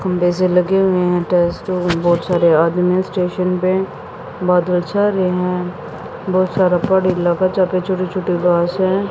कुंडे से लगे हुए हैं बहुत सारे आदमी स्टेशन है पे बहुत सारा पहाड़ी इलाका यहां पे छोटी छोटी घासे हैं।